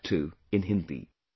And that too in Hindi